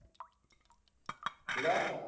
ਕਿਹੜਾ।